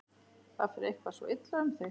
Það fer eitthvað svo illa um þig.